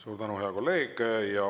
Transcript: Suur tänu, hea kolleeg!